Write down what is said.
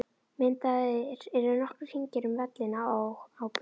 Myndaðir eru nokkrir hringir um vellina og á bölunum.